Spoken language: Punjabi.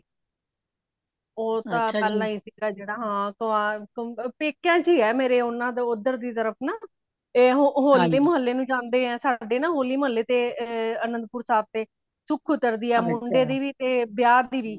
ਉਹ ਤਾ ਪਹਿਲਾਂ ਹੀ ਸੀਗਾ ਜੇੜਾ ਹਾਂ ਪੇਕਯਾ ਚਿਏ ਮੇਰੇ ਓਨਾ ਦਾ ਓਦਰ ਦੀ ਤਰਫ ਨਾ ਏਹ ਹੋਲੀ ਦੇ ਮਹਲੇ ਨੂੰ ਜਾਂਦੇ ਏਹ ਸਾਡੇ ਨਾ ਹੋਲੀਮਹਾਲੇ ਤੇ ਏ ਆਨੰਦਪੁਰ ਸਾਹਿਬ ਤੇ ਸੁੱਖ ਉਤਰਦੀ ਹੈ ਮੁੰਡੇ ਦੀ ਵੀ ਤੇ ਵਿਆਹ ਦੀ ਵੀ